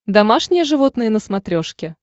домашние животные на смотрешке